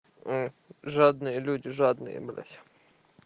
мм жадные люди жадные блять